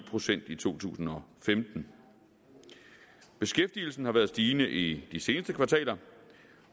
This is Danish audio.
procent i to tusind og femten beskæftigelsen har været stigende i de seneste kvartaler